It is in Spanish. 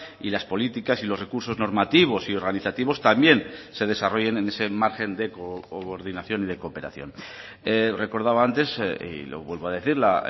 y las políticas y los recursos normativos y organizativos también se desarrollen en ese margen de coordinación y de cooperación recordaba antes y lo vuelvo a decir la